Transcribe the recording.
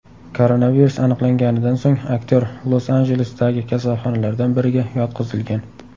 Koronavirus aniqlanganidan so‘ng aktyor Los-Anjelesdagi kasalxonalardan biriga yotqizilgan.